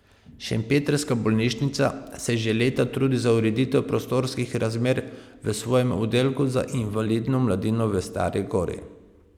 Šempetrska bolnišnica se že leta trudi za ureditev prostorskih razmer v svojem oddelku za invalidno mladino v Stari gori.